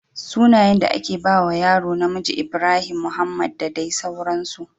Sunayen da ake bawa yaro namiji Ibrahim, Mohamed da dai sauransu